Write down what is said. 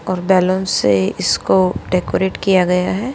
और बैलून से इसको डेकोरेट किया गया हैं।